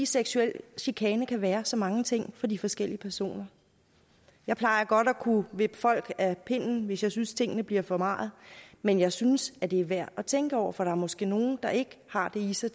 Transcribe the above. seksuel chikane kan være så mange ting for de forskellige personer jeg plejer godt at kunne vippe folk af pinden hvis jeg synes tingene bliver for meget men jeg synes at det er værd at tænke over for der er måske nogle der ikke har det i sig